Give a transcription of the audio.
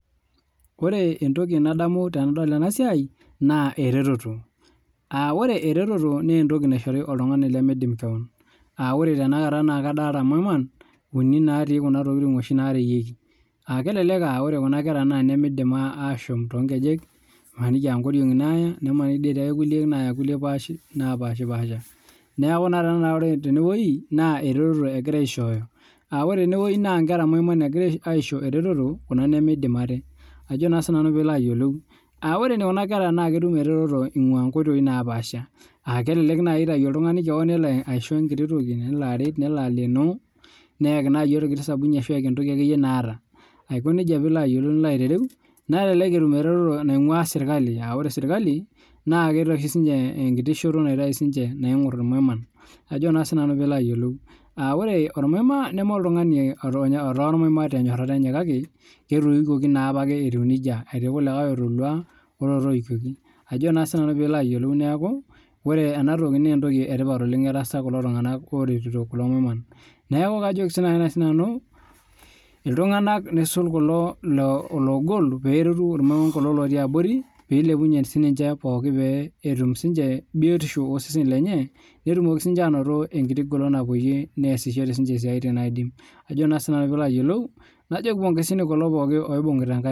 Ore entoki nadamu tenadol ena siai na eretoto na ore eretoto naa entoki naishori oltung'ani lemidim keon ore tenewueji tanakata nadolita maiman natii noshi tokitin narewueki kelelek aa etodua Kuna kera naa nimidim ashom too nkejek emaniki aa nkoriongi naata nimaniki etii enkulie napashipasha neeku ore tenewueji naa eretoto egirai aishoyo ore tenewueji naa Nkera maiman egirai aisho eretoto Kuna nimidim ate ore Kuna kera naa ketum eretoto ayimu nkoitoi napaasha aa kelelek naaji etau oltung'ani kewon neloaisho enkiti toki nelo aret nelo aleno neyaki orkiti sabuni ashu entoki akeyie nataa naa elelek etum eretoto naingua sirkali aa ore sirkali naa kitayu enkiti shoto naingor irmaiman ore ormaima neme oltung'ani otaa ormaima tenyirata Enya eti irkulie otolua olotoyikioki neeku entoki etipat oleng etaasa kulo tung'ana oreteto kulo maiman neeku kajoki naaji nanu iltung'ana nisul kulo logol pee eretu kulo lotii abori petum sininche biotiosho oseseni lenye netum siniche egolon nasie esiatin najooki ponezini kulo pookin